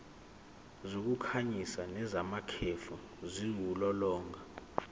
zokukhanyisa nezamakhefu ziwulolonga